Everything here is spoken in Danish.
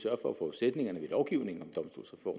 at forudsætningerne i lovgivningen